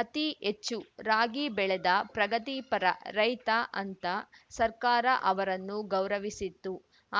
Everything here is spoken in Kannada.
ಅತೀ ಹೆಚ್ಚು ರಾಗಿ ಬೆಳೆದ ಪ್ರಗತಿಪರ ರೈತ ಅಂತ ಸರ್ಕಾರ ಅವರನ್ನು ಗೌರವಿಸಿತ್ತು